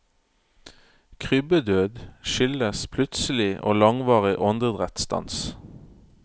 Krybbedød skyldes plutselig og langvarig åndedrettsstans.